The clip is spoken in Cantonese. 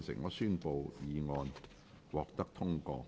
我宣布議案獲得通過。